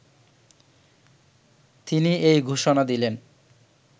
তিনি এই ঘোষণা দিলেন